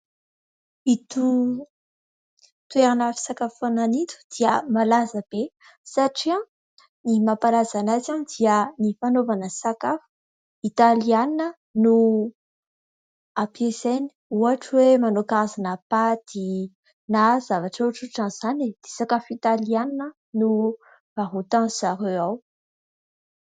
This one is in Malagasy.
Ito toerana fisakafoanana ito dia malaza be satria ny mampalaza an'azy dia ny fanaovana sakafo, Italiana no ampiasainy, ohatra hoe manao karazany paty na zavatra ohatrohatr'izany. Sakafo Italiana no varotan-izy ireo ao.